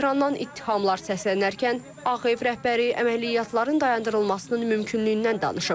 Tehrandan ittihamlar səslənərkən Ağ Ev rəhbəri əməliyyatların dayandırılmasının mümkünlüyündən danışıb.